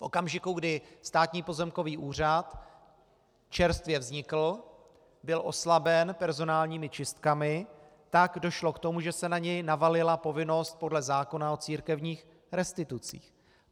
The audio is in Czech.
V okamžiku, kdy Státní pozemkový úřad čerstvě vznikl, byl oslaben personálními čistkami, tak došlo k tomu, že se na něj navalila povinnost podle zákona o církevních restitucích.